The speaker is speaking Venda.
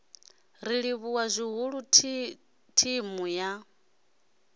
ri livhuwa zwihulu thimu ya